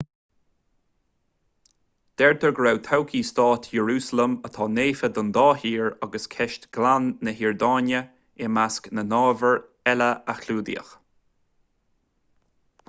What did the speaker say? deirtear go raibh todhchaí stáit iarúsailéim atá naofa don dá thír agus ceist ghleann na hiordáine i measc na n-ábhar eile a clúdaíodh